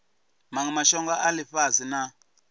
manwe mashango a ifhasi na